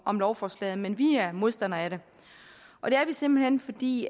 om lovforslaget men vi er modstandere af det og det er vi simpelt hen fordi